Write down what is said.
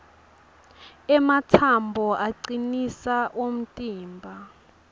ematsambo acinisa umtimba